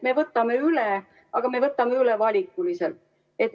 Me võtame üle, aga me võtame üle valikuliselt.